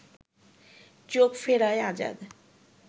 চোখ ফেরায় আজাদ